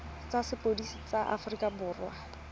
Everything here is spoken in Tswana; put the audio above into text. tsa sepodisi sa aforika borwa